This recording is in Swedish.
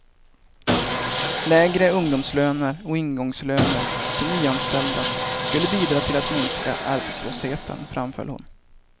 Lägre ungdomslöner och ingångslöner för nyanställda skulle bidra till att minska arbetslösheten, framhöll hon.